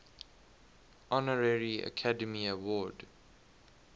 honorary academy award